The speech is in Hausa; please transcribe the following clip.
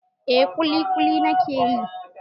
Eh ƙuliƙuli na ke yi.